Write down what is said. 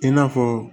I n'a fɔ